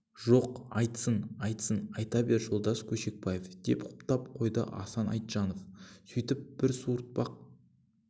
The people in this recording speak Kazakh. жоқ айтсын айтсын айта бер жолдас көшекбаев деп құптап қойды асан айтжанов сөйтіп бір суыртпақ